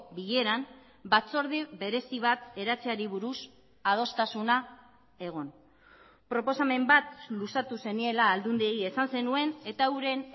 bileran batzorde berezi bat eratzeari buruz adostasuna egon proposamen bat luzatu zeniela aldundiei esan zenuen eta euren